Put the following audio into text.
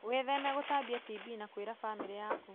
Wĩtheme gũtambia TB na kwĩra famĩrĩ yaku.